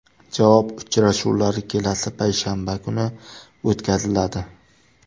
Javob uchrashuvlari kelasi payshanba kuni o‘tkaziladi.